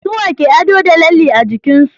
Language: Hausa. suwa ke ado da lalle a jikinsu